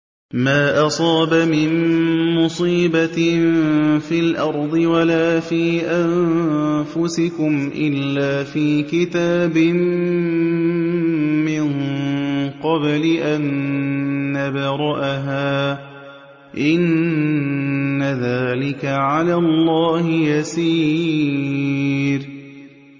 مَا أَصَابَ مِن مُّصِيبَةٍ فِي الْأَرْضِ وَلَا فِي أَنفُسِكُمْ إِلَّا فِي كِتَابٍ مِّن قَبْلِ أَن نَّبْرَأَهَا ۚ إِنَّ ذَٰلِكَ عَلَى اللَّهِ يَسِيرٌ